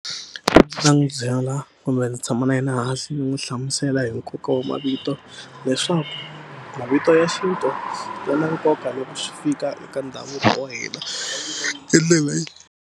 n'wu byela kumbe ndzi tshama na yena hansi ni n'wi hlamusela hi nkoka wa mavito leswaku mavito ya xintu ya na nkoka loko swi fika eka ndhavuko wa hina i ndlela .